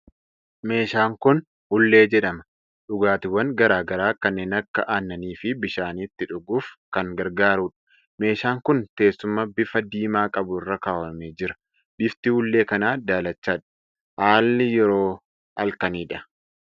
Meeshaan kun hullee jedhama. dhugaatiwwan garaa garaa kanneen akka aannanii fi bishaanii itti dhuguuf kan gargaarudha. Meeshaan kun teessuma bifa diimaa qabu irra kaawwamee jira. Bifti hullee kana daalachadha. Haalli yeroo halkanidha.